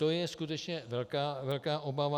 To je skutečně velká obava.